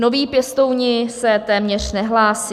Noví pěstouni se téměř nehlásí.